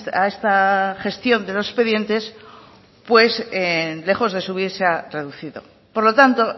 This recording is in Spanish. a esta gestión de los expedientes pues lejos de subir se ha reducido por lo tanto